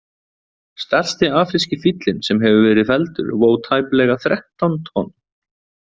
Stærsti afríski fíllinn sem hefur verið felldur vó tæplega þrettán tonn.